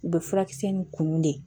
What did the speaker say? U bɛ furakisɛ ni kunun de